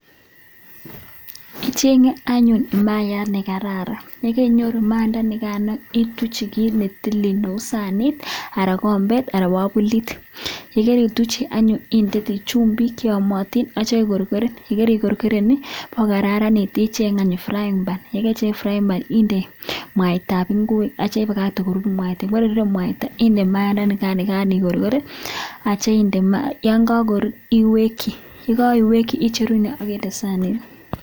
kichengee anyun mayaat nekararan ituchi anyun mayaat sanit nekararan akikorkoreeen yekakorur iwekyi akindee sanit